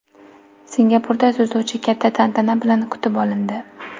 Singapurda suzuvchi katta tantana bilan kutib olindi .